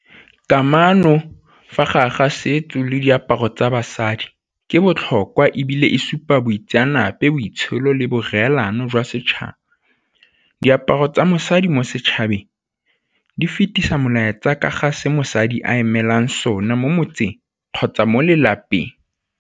Kamano fa gare ga setso le diaparo tsa basadi ke botlhokwa ebile e supa boitseanape, boitsholo le boreelano jwa setšhaba. Diaparo tsa mosadi mo setšhabeng di fetisa melaetsa tsa ka ga se mosadi a emelang sona mo motseng kgotsa mo lelapeng.